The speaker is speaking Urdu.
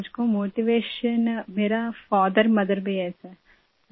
سر ، مجھے یہ حوصلہ میرے والد ، والدہ سے ملتا ہے سر